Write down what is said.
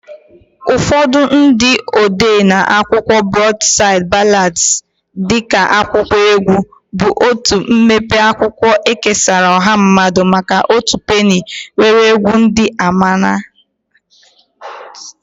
Ụfọdụ ndị odee na-akọwa Broadside Ballads dị ka akwụkwọ egwu, bụ otu mpempe akwụkwọ ekesara ọha mmadụ maka otu penny nwere egwu ndị ama ama.